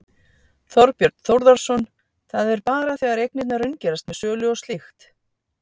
Þorbjörn Þórðarson: Það er bara þegar eignirnar raungerast með sölu og slíkt?